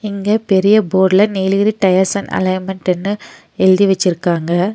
இங்க பெரிய போர்ட்ல நீலகிரி டயர்சஸ் அண்ட் அலைன்மென்ட்டுன்னு எழுதி வெச்சிருக்காங்க.